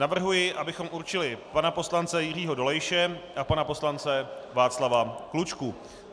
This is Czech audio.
Navrhuji, abychom určili pana poslance Jiřího Dolejše a pana poslance Václava Klučku.